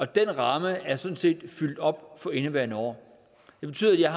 den ramme er sådan set fyldt op for indeværende år det betyder at jeg